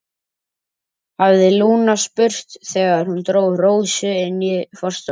hafði Lúna spurt þegar hún dró Rósu inn í forstofuna.